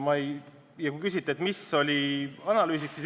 Te küsisite, mis analüüsidele me toetusime.